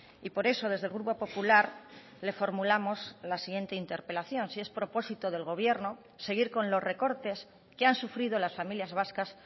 y por eso desde el grupo popular le formulamos la siguiente interpelación si es propósito del gobierno seguir con los recortes que han sufrido las familias vascas